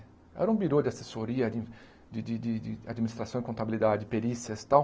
Era um birô de assessoria, de de de de administração e contabilidade, perícias tal.